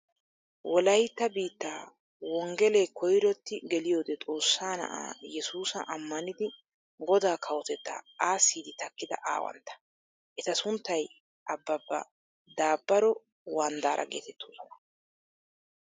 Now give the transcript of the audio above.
Wolaytta biittaa wonggelee koyrotti geliyoode Xoossa na"aa Yesuusa ammanidi godaa kawotettaa aassiiddi takkida aawantta. Eta sunttay Abbaabba Daabbaro Wanddaara geetettoosona.